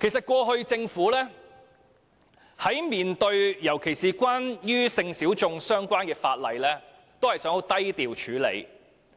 其實，政府過往尤其在面對與性小眾相關的法例時，只想低調處理，